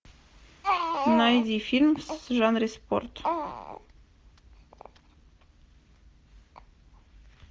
найди фильм в жанре спорт